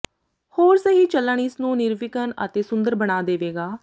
ਹੋਰ ਸਹੀ ਚੱਲਣ ਇਸ ਨੂੰ ਨਿਰਵਿਘਨ ਅਤੇ ਸੁੰਦਰ ਬਣਾ ਦੇਵੇਗਾ